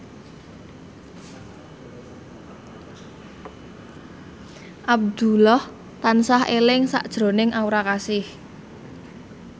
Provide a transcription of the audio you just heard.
Abdullah tansah eling sakjroning Aura Kasih